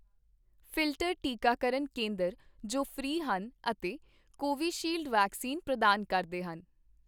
filter ਟੀਕਾਕਰਨ ਕੇਂਦਰ ਜੋ ਫ੍ਰੀ ਹਨ ਅਤੇ ਕੋਵੀਸ਼ੀਲਡ ਵੈਕਸੀਨ ਪ੍ਰਦਾਨ ਕਰਦੇ ਹਨ